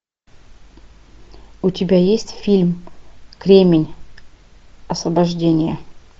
у тебя есть фильм кремень освобождение